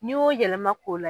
N'i y'o yɛlɛma k'o la